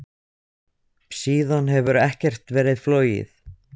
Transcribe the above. síðan hefur ekkert verið flogið.